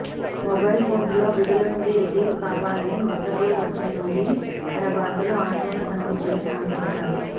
mobile కోర్టులో విధుల నుండి రిలీవ్ కావాలని ఉత్తర్వులు వచ్చిన నుండి తన భర్తలో ఆందోళన కన్పించిందని ఆమె చెప్పారు